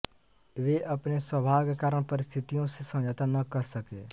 वे अपने स्वभाव के कारण परिस्थितियो से समझौता न कर सके